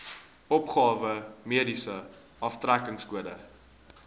opgawe mediese aftrekkingskode